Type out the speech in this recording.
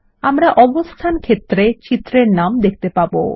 আমরা অবস্থান ক্ষেত্রে চিত্র এর নাম দেখতে পাবো